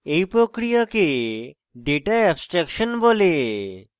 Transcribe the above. এই প্রক্রিয়াকে data abstraction বলে